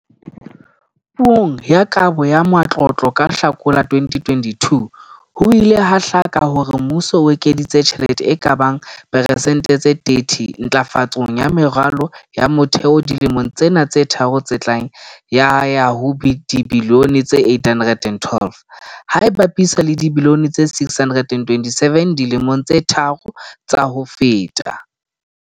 Puong ya Kabo ya Matlotlo ka Hlakola 2022, ho ile ha hlaka hore mmuso o ekeditse tjhelete e ka bang persente tse 30 ntlafatsong ya meralo ya motheo dilemong tsena tse tharo tse tlang ya ya ho dibilione tse R812, ha e bapiswa le dibilione tse R627 dilemong tse tharo tsa ho feta.